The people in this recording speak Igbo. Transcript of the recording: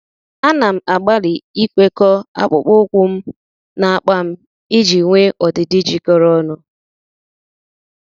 À nà m àgbàlị́ ikwekọ́ akpụkpọ́ụkwụ́ m na ákpá m iji nwee ọdịdị jikọrọ ọnụ.